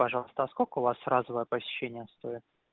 пожалуйста а сколько у вас разовое посещение стоит